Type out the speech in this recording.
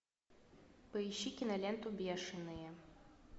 поищи киноленту бешеные